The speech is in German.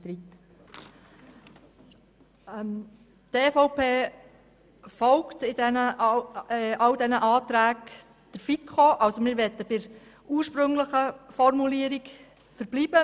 Die EVP folgt bei diesen drei Anträgen der FiKo und möchte bei der ursprünglichen Formulierung bleiben.